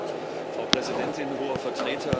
Frau Präsidentin, Hoher Vertreter!